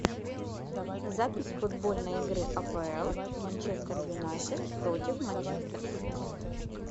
запись футбольной игры апл манчестер юнайтед против манчестер сити